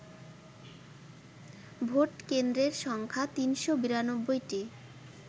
vote কেন্দ্রের সংখ্যা ৩৯২টি